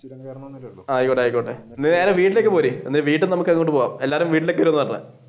ആയിക്കോട്ടെ ആയിക്കോട്ടെ നേരെ വീട്ടിലേക്ക് പോര് വീട്ടിൽ നിന്ന് നമുക്ക് അങ്ങട് പോവാം